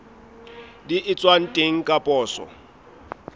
di etswang teng ka poso